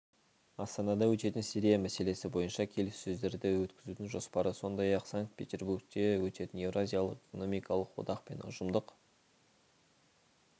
астанада өтетін сирия мәселесі бойынша келіссөздерді өткізудің жоспары сондай-ақ санкт-петербургте өткен еуразиялық экономикалық одақ пен ұжымдық